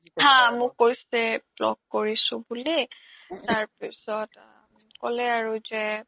মোক কৈছে block কৰিছো বুলি তাৰ পিছিত আ ক্'লে আৰু যে